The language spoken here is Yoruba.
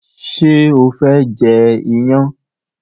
ṣe o fé jê iyán?